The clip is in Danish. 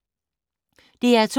DR2